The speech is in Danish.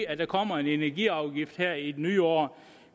at der kommer en energiafgift her i det nye år